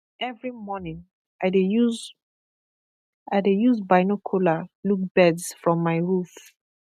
every morning i dey use i dey use binocular look birds from my roof